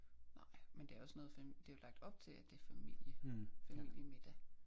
Nej men det også noget det jo lagt op til at det er familie familiemiddag